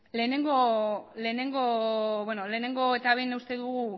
lehenengo eta behin uste dugu